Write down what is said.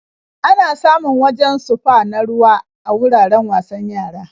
Ana samun wajen sufa na ruwa a wuraren wasan yara.